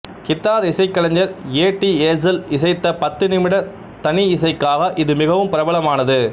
guitar இசைக்கலைஞர் Eddie Hazel இசைத்த பத்து நிமிட தனியிசைக்காக இது மிகவும் பிரபலமானது